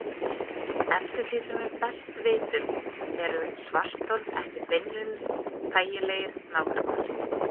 Eftir því sem við best vitum eru svarthol ekki beinlínis þægilegir nágrannar.